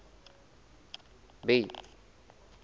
bay